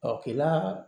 kilan